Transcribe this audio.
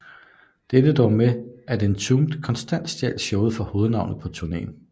Det endte dog med at Entombed konstant stjal showet fra hovednavnet på turnéen